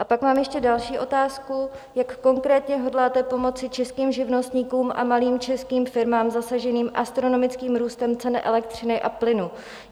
A pak mám ještě další otázku: Jak konkrétně hodláte pomoci českým živnostníkům a malým českým firmám zasaženým astronomickým růstem ceny elektřiny a plynu?